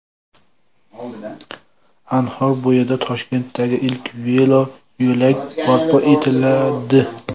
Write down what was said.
Anhor bo‘yida Toshkentdagi ilk veloyo‘lak barpo etiladi.